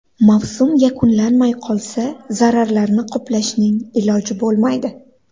Mavsum yakunlanmay qolsa zararlarni qoplashning iloji bo‘lmaydi.